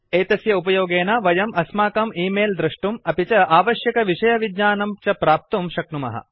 एतस्य उपयोगेन वयं अस्माकं ई मैल् दृष्टुम् अपि च आवश्यकविषयज्ञानं च प्राप्तुं शक्नुमः